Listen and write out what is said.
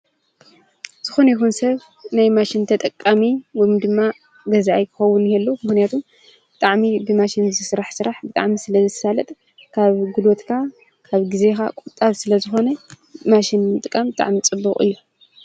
ዝኾነ ይኹን ሰብ ናይ ማሽንተ ጠቃሚ ውም ድማ ገዛአይ ክኸውን የሉ ምሕነቱም ጥዕሚ ብማሽን ዝሥራሕ ሥራሕ ብጣም ስለ ዝሣለጥ ካብ ግሉወትካ ካብ ጊዜኻ ቊጣብ ስለ ዝኾነ ማሽን ጥቃም ጠዕሚ ጽቡቕ እዩ